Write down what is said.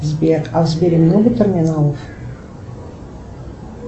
сбер а в сбере много терминалов